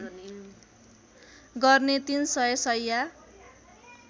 गर्ने ३ सय शैय्या